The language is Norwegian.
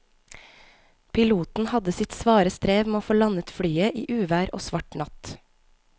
Piloten hadde sitt svare strev med å få landet flyet i uvær og svart natt.